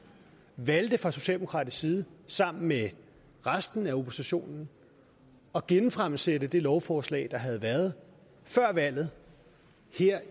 valgte fra socialdemokratisk side sammen med resten af oppositionen at genfremsætte det lovforslag der havde været før valget